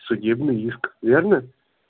судебный иск верно